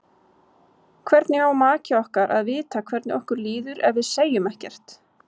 Hvernig á maki okkar að vita hvernig okkur líður ef við segjum ekkert?